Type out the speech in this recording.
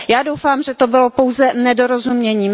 Já doufám, že to bylo pouze nedorozumění.